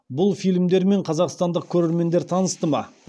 бұл фильмдермен қазақстандық көрермендер танысты ма